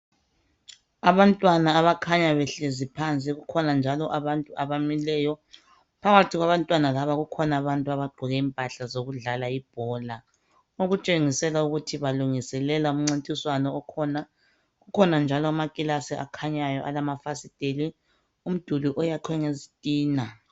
Abantwana abakhanya behlezi phansi. Kukhona njalo abamileyo. Phakathi kwabantwana laba kukhona abantu abagqoke impahla zokudlala ibhola okutshengisela ukuthi balungiselela umncintiswano okhona. Kukhona njalo amakilasi akhanyayo alamafasiteli, umduli oyakhwe ngezitina.